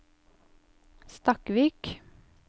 Stakkvik